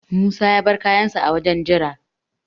Musa ya bar kayansa a wajen jira.